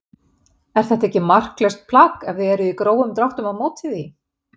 Er þetta ekki marklaust plagg ef þið eruð í grófum dráttum á móti því?